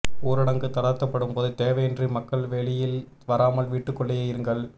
ஊரடங்கு தளர்த்தப்படும்போது தேவையின்றி மக்கள் வெளியில் வராமல் வீட்டுக்குள்ளேயே இருங்கள்